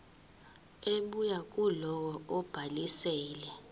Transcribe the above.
ebuya kulowo obhalisile